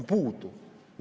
Puudu!